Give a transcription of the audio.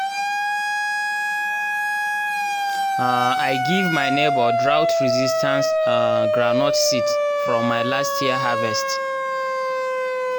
um i give my neighbor drought-resistant um groundnut seeds from my last year harvest